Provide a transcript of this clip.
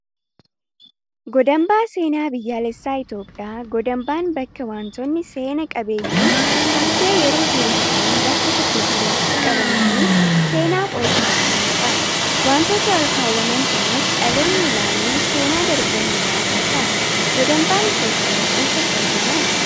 Godambaa seenaa biyyaalessaa Itoophiyaa Godambaan bakka wantoonni seena qabeeyyiin haftee yeroo durii ta'an bakka tokkotti walitti qabamanii seenaaf ol kaawwamanidha. Wantoota ol kaawwaman kanas dhaloonni ilaaluun seenaa darban irraa barata. Godambaan Itoophiyaa eessatti argama?